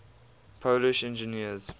polish engineers